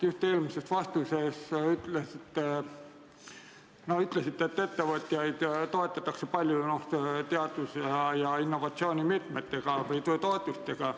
Just eelmises vastuses ütlesite, et ettevõtjaid toetatakse palju teadus- ja innovatsioonimeetmete või -toetustega.